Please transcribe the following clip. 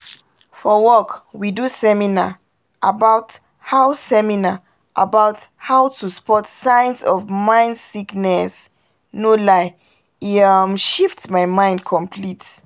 for wok we do seminar about how seminar about how to spot signs of mind sickness no lie e um shift my mind complete